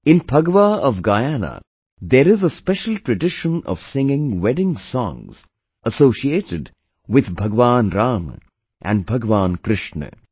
In Phagwa of Guyana there is a special tradition of singing wedding songs associated with Bhagwan Rama and Bhagwan Krishna